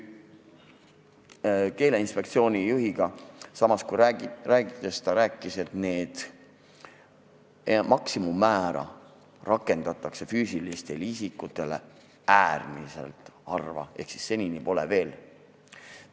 Keeleinspektsiooni juhiga rääkides selgus, et maksimummäära rakendatakse füüsiliste isikute suhtes äärmiselt harva ehk senini pole veel rakendatud.